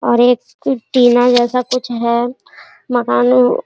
और एक टीना जैसा कुछ है मकान --